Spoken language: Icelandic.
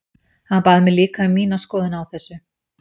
Hann bað mig líka um mína skoðun á þessu.